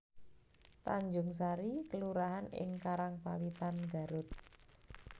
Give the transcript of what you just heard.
Tanjungsari kelurahan ing Karangpawitan Garut